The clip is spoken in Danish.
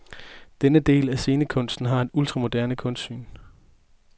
Denne del af scenekunsten har et ultramoderne kunstsyn.